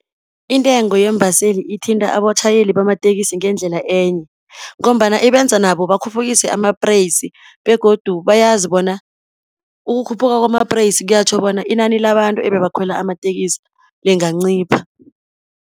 Intengo yeembaseli ithinta abatjhayeli bamatekisi ngendlela enye, ngombana ibenza nabo bakhuphukise amapreyisi, begodu bayazi bona ukukhuphuka kwamapreyisi kiyatjho bona inani labantu ebebakhwela amatekisi lingancipha.